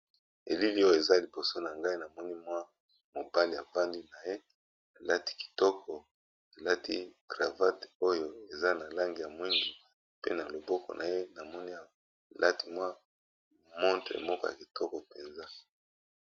Elili oyo eza liboso nangai namoni mwa mobali afandi naye alati kitoko alati cravat oyo eza nalangi ya mwindo na loboko naye namoni alati montre ya malamu penza